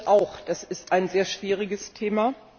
Ich finde das auch, das ist ein sehr schwieriges Thema.